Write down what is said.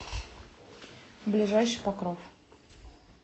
ближайший покров